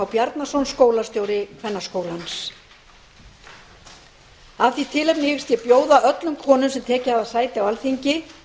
bjarnason skólastjóri kvennaskólans af því tilefni hyggst ég bjóða öllum konum sem tekið hafa sæti á alþingi